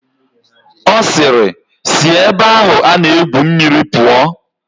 Ọ sịịrị, sị ebe ahụ a na-egwu mmiri pụọ!